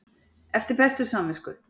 Eftir bestu samvisku?